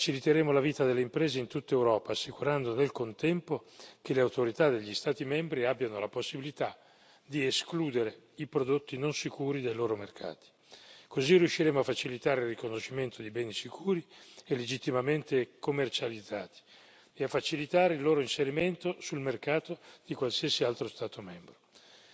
Faciliteremo la vita delle imprese in tutta Europa, assicurando nel contempo che le autorità degli Stati membri abbiano la possibilità di escludere i prodotti non sicuri dai loro mercati. Così riusciremo a facilitare il riconoscimento di beni sicuri e legittimamente commercializzati e a facilitare il loro inserimento sul mercato in qualsiasi altro Stato membro.